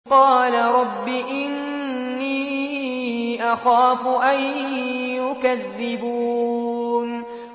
قَالَ رَبِّ إِنِّي أَخَافُ أَن يُكَذِّبُونِ